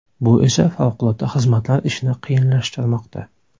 Bu esa favqulodda xizmatlar ishini qiyinlashtirmoqda.